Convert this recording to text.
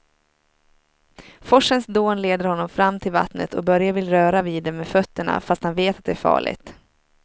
Forsens dån leder honom fram till vattnet och Börje vill röra vid det med fötterna, fast han vet att det är farligt.